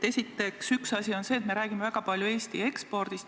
Esiteks, üks asi on see, et me räägime väga palju Eesti ekspordist.